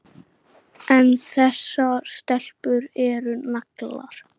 En þessar stelpur eru naglar.